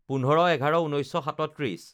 ১৫/১১/১৯৩৭